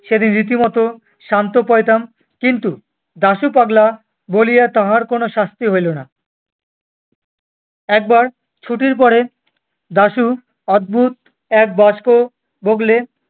সেদিন রীতিমতো শান্ত পাইতাম কিন্তু দাশু পাগলা বলিয়া তাহার কোনো শাস্তি হইল না। একবার ছুটির পরে দাশু অদ্ভুত এক বাক্স বগলে-